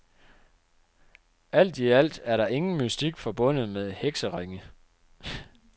Alt i alt er der ingen mystik forbundet med hekseringe.